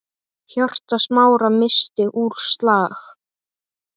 Hjarta Smára missti úr slag.